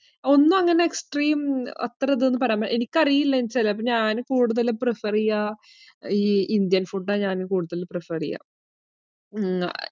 ഒന്നും അങ്ങനെ extream അത്ര ഇതെന്ന് പറയാന്‍ പറ്റില്ല. എനിക്കറിയില്ല. കൂടുതല്‍ prefer ചെയ്യുക ഈ ഇന്ത്യന്‍ food ഞാന്‍ കൂടുതല്‍ prefer ചെയ്യുക.